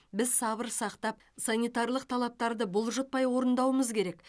біз сабыр сақтап санитарлық талапарды бұлжытпай орындауымыз керек